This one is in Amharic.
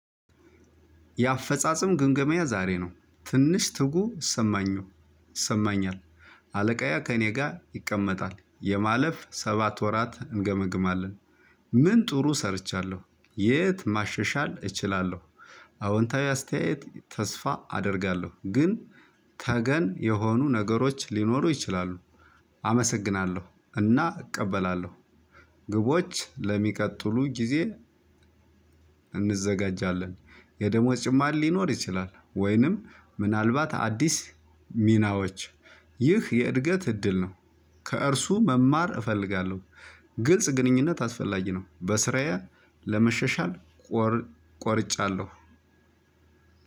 የአፈጻጸም ግምገማዬ ዛሬ ነው ትንሽ ትጉ ሰማኝ ነው ይሰማኛል። አለቃዬ ከእኔ ጋር ይቀመጣል የማለፍ ሰባት ወራት እንገመግማለን። ምን ጥሩ ሰርቻለሁ የት ማሸሻል እችላለሁ። አዎንታዊ አስተያየት ተስፋ አደርጋለሁ ግን ተገን የሆኑ ነገሮች ሊኖሩ ይችላሉ። አመሰግናለሁ እና እቀበላለሁ። ግቦች ለሚቀጥሉ ጊዜ እንዘጋጃለን። የደሞዝ ጭማሬ ሊኖር ይችላል ወይንም ምናልባት አዲስ ሚናዎች ይህ የእድገት እድል ነው። ከእርሱ መማር እፈልጋለሁ። ግልጽ ግንኙነት አስፈላጊ ነው በስራዬ ለመሻሻል ቆርጫለሁ።